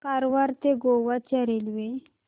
कारवार ते गोवा च्या रेल्वे